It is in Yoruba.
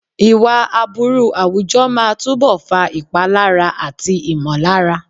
Ìwà aburú àwùjọ máa túbọ̀ fa ìpalára àti ìmọ̀lára.